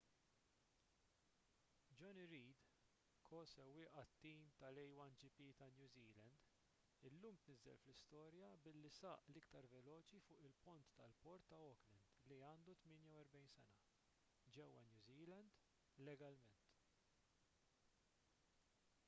jonny reid ko-sewwieq għat-tim tal-a1gp ta’ new zealand illum tniżżel fl-istorja billi saq l-iktar veloċi fuq il-pont tal-port ta’ auckland li għandu 48 sena ġewwa new zealand legalment